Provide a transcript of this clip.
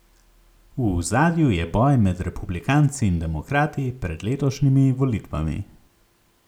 V ozadju je boj med republikanci in demokrati pred letošnjimi volitvami.